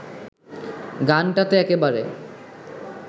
গানটাতে একেবারে